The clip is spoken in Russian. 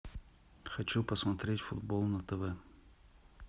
хочу посмотреть футбол на тв